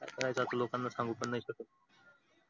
काय करायचं आता लोकांना सांगू पण नाही शकत.